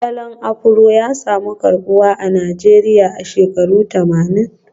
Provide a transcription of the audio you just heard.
Salon Afro ya samu karbuwa a Najeriya a shekarun tamanin